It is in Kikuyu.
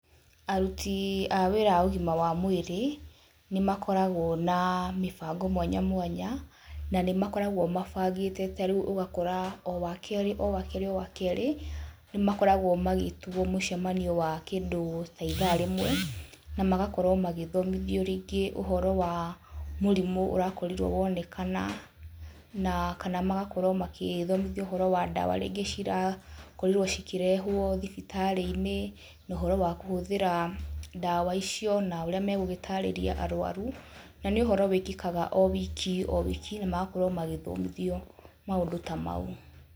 Aruti a wĩra a ũgima wa mwĩrĩ nĩ makoragwo na mĩbango mwanya mwanya na nĩmakoragwo mabangĩte ta rĩu ũgakora o wakerĩ o wakerĩ o wakerĩ nĩmakoragwo magĩtigwo mũcemanio wa kĩndũ ta ithaa rĩmwe, na magakorwo magĩthomithio rĩngĩ ũhoro wa mũrimũ ũrakorirwo wonekana, na kana magakorwo magĩthomithio ũhoro wa ndawa, rĩngĩ cirakorirwo cikĩrehwo thibitarĩ-inĩ no ũhoro wa kũhũthĩra ndawa icio na ũrĩa megũgĩtarĩria arũaru na nĩ ũhoro wĩkĩkaga o wiki o wĩki na magakorwo magĩthomithio maũndũ ta mau.